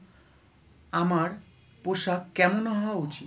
আমার পোশাক কেমন হওয়া উচিত?